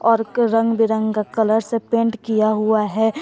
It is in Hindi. और के रंग बिरंगे का कलर से पेंट किया हुआ है।